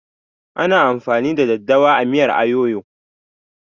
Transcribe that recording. Ana amfani da daddawa a miyar ayoyo